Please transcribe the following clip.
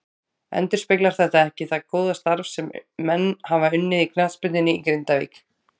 Endurspeglar þetta ekki það góða starf sem menn hafa unnið í knattspyrnunni í Grindavík.